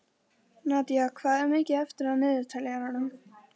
Nadía, hvað er mikið eftir af niðurteljaranum?